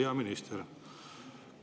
Hea minister!